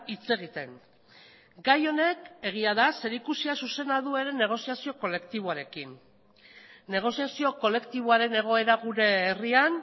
hitz egiten gai honek zerikusia zuzena duela negoziazio kolektiboarekin negoziazio kolektiboaren egoera gure herrian